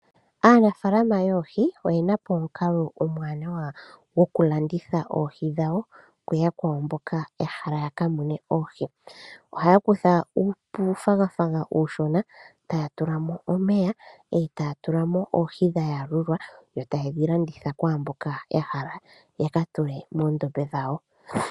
Aanafaalama yoohi oyena po omukalo omwaanawa gokulanditha oohi dhawo kuyakwawo mboka ya hala ya kamune oohi. Ohaya kutha uufwagafwaga uushona taya tula mo omeya e taya tula mo oohi dhayalulwa e taye dhilanditha kwaamboka ya hala ya ka tule moondombe dhawo.